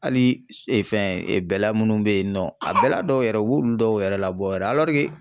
Hali fɛn bɛla munnu be yen nɔ a bɛla dɔw yɛrɛ u b'olu dɔw yɛrɛ labɔ yɛrɛ